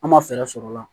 An ma fɛɛrɛ sɔrɔ o la